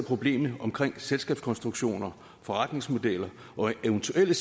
problemet omkring selskabskonstruktioner forretningsmodeller og eventuelle